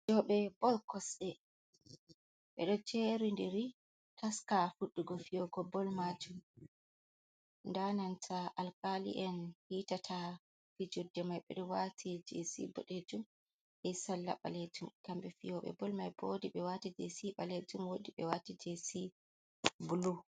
Fejobe bol kosɗe. Beɗo jeridiri taska fuddugo fiyogo bol majum. Ndabnanta Alkali’en hitata fijurde mai bo, ɗo wati jesi Bodejum e Salla balejum. Kambe fiyobe bol mai bo wodi be wati jesi baletum wodi be wati jesi Bulu.